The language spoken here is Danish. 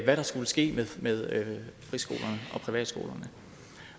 hvad der skulle ske med friskolerne